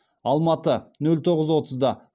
алматы нөл тоғыз отызда